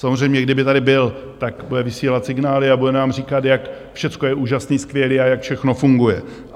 Samozřejmě, kdyby tady byl, tak bude vysílat signály a bude nám říkat, jak všecko je úžasné, skvělé a jak všechno funguje.